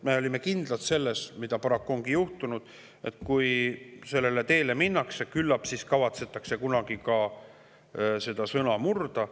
Me olime kindlad selles, mis paraku ongi juhtunud: et kui sellele teele minnakse, küllap siis kavatsetakse kunagi seda sõna murda.